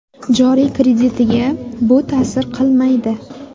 Joriy kreditiga bu ta’sir qilmaydi.